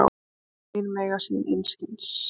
Orð mín mega sín einskis.